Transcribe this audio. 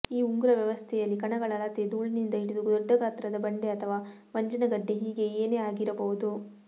ಈ ಉಂಗುರ ವ್ಯವಸ್ಥೆಯಲ್ಲಿ ಕಣಗಳ ಅಳತೆ ಧೂಳಿನಿಂದ ಹಿಡಿದು ದೊಡ್ಡಗಾತ್ರದ ಬಂಡೆ ಅಥವ ಮಂಜಿನಗಡ್ಡೆ ಹೀಗೆ ಏನೇ ಆಗಿರಬಹುದು